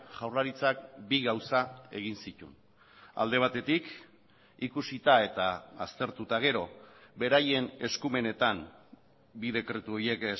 jaurlaritzak bi gauza egin zituen alde batetik ikusita eta aztertu eta gero beraien eskumenetan bi dekretu horiek